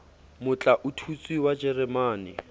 motla o tutswe wa jeremane